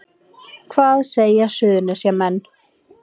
Hvað segja Suðurnesjamenn